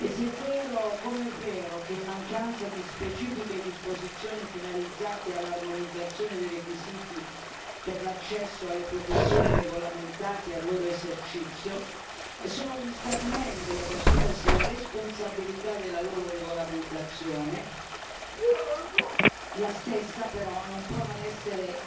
Se è vero, come è vero, che, in mancanza di specifiche disposizioni finalizzate all'armonizzazione dei requisiti per l'accesso alle professioni regolamentate e al loro esercizio sono gli Stati membri ad assumersi la responsabilità della loro regolamentazione, la stessa però non può non essere